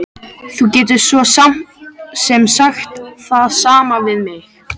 Þú gætir svo sem sagt það sama við mig.